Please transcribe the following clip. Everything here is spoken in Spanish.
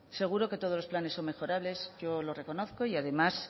seguro que todos los planes son mejorables yo lo reconozco y además